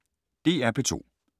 DR P2